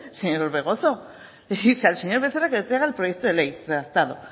señor orbegozo le dice al señor becerra que le traiga el proyecto de ley redactado